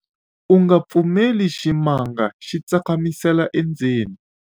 u nga pfumeleli ximanga xi tsakamisela endzeni